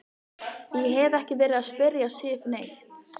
Ég hef ekki verið að spyrja Sif neitt.